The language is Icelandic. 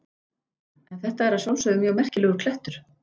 En þetta er að sjálfsögðu mjög merkilegur klettur.